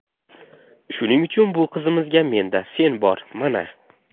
Shuning uchun bu qizimizga menda fen bor, mana.